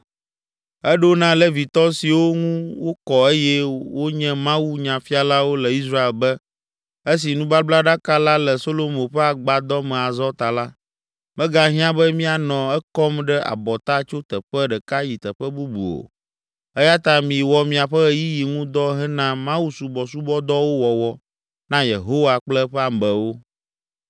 Eɖo na Levitɔ siwo ŋu wokɔ eye wonye mawunyafialawo le Israel be, “Esi nubablaɖaka la le Solomo ƒe agbadɔ me azɔ ta la, megahiã be mianɔ ekɔm ɖe abɔta tso teƒe ɖeka yi teƒe bubu o eya ta miwɔ miaƒe ɣeyiɣi ŋu dɔ hena mawusɔbɔsubɔdɔwo wɔwɔ na Yehowa kple eƒe amewo.